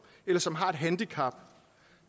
eller som har et handicap